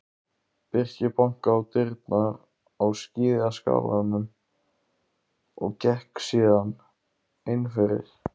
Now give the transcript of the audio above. Birkir bankaði á dyrnar á skíðaskálanum og gekk síðan innfyrir.